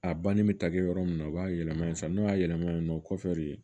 A banni bɛ ta kɛ yɔrɔ min na u b'a yɛlɛma yen san n'u y'a yɛlɛma yen nɔ o kɔfɛ de